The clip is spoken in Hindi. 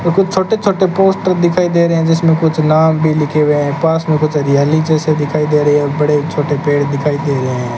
छोटे छोटे पोस्टर दिखाई दे रहे हैं जिसमें कुछ नाम भी लिखे हुए हैं पास में कुछ हरियाली जैसी दिखाई दे रही है और बड़े छोटे पेड़ दिखाई दे रहे हैं।